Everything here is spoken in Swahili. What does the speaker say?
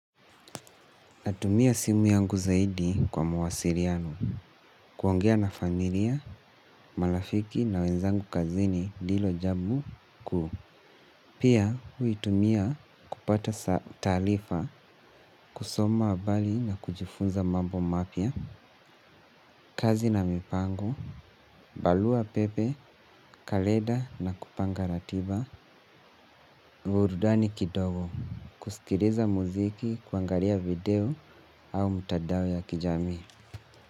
Natumia simu yangu zaidi kwa mawasiliano, kuongea na familia, marafiki na wenzangu kazini ndilo jambu kuu. Pia huitumia kupata taarifa, kusoma habari na kujifunza mambo mapya, kazi na mipango, barua pepe, kalenda na kupanga ratiba, burudani kidogo, kusikiliza muziki, kuangalia video au mtandao ya kijami.